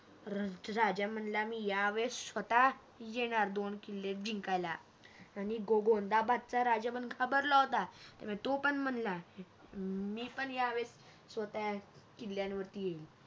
राजा म्हणाला मी यावेळेस स्वतः येणार दोन किल्ले जिंकायला आणि गोंदबादचा पण घाबरला होता त्या ************ तो पण म्हणाला मी पण या वेळेस स्वतः किल्ल्यांवरती येईल